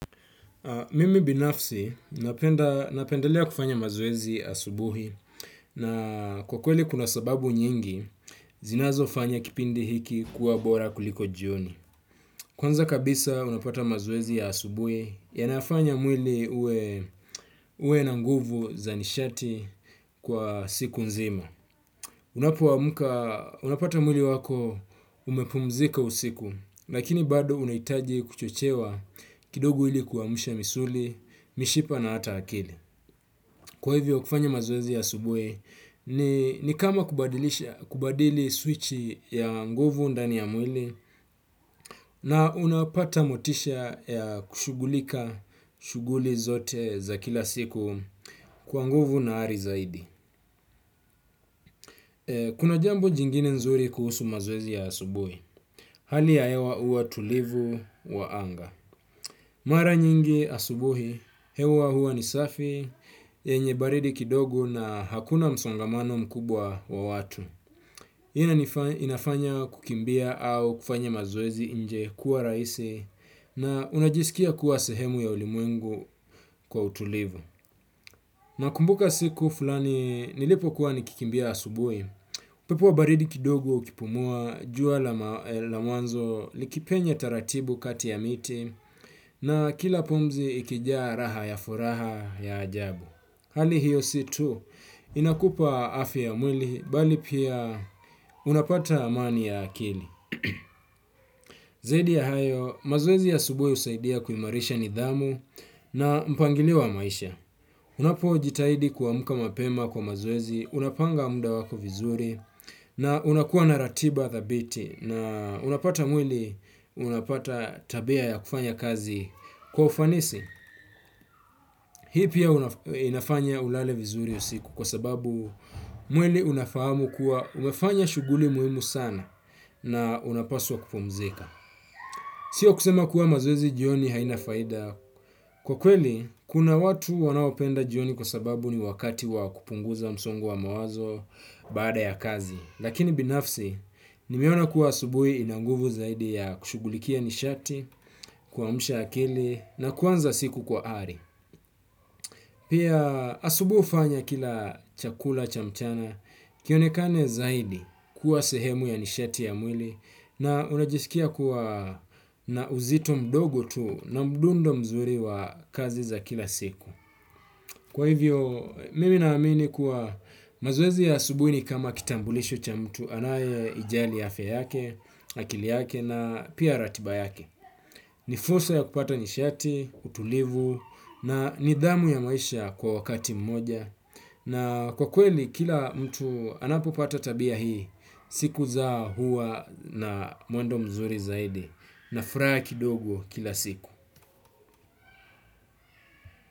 Mimi binafsi ninapenda napendelea kufanya mazoezi asubuhi na kwa kweli kuna sababu nyingi zinazofanya kipindi hiki kuwa bora kuliko jioni. Kwanza kabisa unapata mazoezi ya asubuhi yanafanya mwili uwe na nguvu za nishati kwa siku nzima. Unapoamka, unapata mwili wako umepumzika usiku, lakini bado unahitaji kuchochewa kidogu ili kuamsha misuli, mishipa na hata akili. Kwa hivyo kufanya mazoezi ya asubuhi, ni kama kubadili switchi ya nguvu ndani ya mwili na unapata motisha ya kushugulika shuguli zote za kila siku kwa nguvu na ari zaidi. Kuna jambu jingine nzuri kuhusu mazoezi ya asubuhi. Hali ya hewa huwa tulivu wa anga. Mara nyingi asubuhi, hewa huwa ni safi, yenye baridi kidogo na hakuna msongamano mkubwa wa watu. Inafanya kukimbia au kufanya mazoezi nje kuwa rahisi na unajisikia kuwa sehemu ya ulimwengu kwa utulivu. Na kumbuka siku fulani nilipo kuwa nikikimbia asubuhi, upepo wa baridi kidogo ukipumua, jua la mwanzo likipenye taratibu kati ya miti na kila pumzi ikijaa raha ya furaha ya ajabu. Hali hiyo si tu inakupa afya ya mwili bali pia unapata amani ya akili. Zaidi ya hayo, mazoezi ya asubuhi husaidia kuimarisha nidhamu na mpangilio wa maisha. Unapo jitahidi kuamka mapema kwa mazoezi, unapanga muda wako vizuri na unakuwa na ratiba thabiti na unapata mwili unapata tabia ya kufanya kazi kwa ufanisi. Hii pia inafanya ulale vizuri usiku kwa sababu mwili unafahamu kuwa umefanya shuguli muhimu sana na unapaswa kupumzika. Sio kusema kuwa mazoezi jioni haina faida. Kwa kweli, kuna watu wanaopenda jioni kwa sababu ni wakati wa kupunguza msongo wa mawazo baada ya kazi. Lakini binafsi, nimeona kuwa asubuhi ina nguvu zaidi ya kushugulikia nishati, kuamsha akili na kuanza siku kwa ari. Pia asubuhi hufanya ukila chakula cha mchana kionekane zaidi kuwa sehemu ya nishati ya mwili na unajiskia kuwa na uzito mdogo tu na mdundo mzuri wa kazi za kila siku. Kwa hivyo, mimi naamini kuwa mazoezi ya asubuhi ni kama kitambulisho cha mtu anaye ijali yafe yake, akili yake na pia ratiba yake. Ni fursa ya kupata nishati, utulivu na nidhamu ya maisha kwa wakati mmoja. Na kwa kweli, kila mtu anapopata tabia hii siku zao huwa na mwendo mzuri zaidi na furaha ya kidogo kila siku.